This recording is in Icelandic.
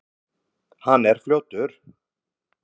Hann er fljótur.